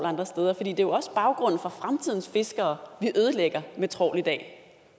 andre steder for det er jo også baggrunden for fremtidens fiskere vi ødelægger med trawl i dag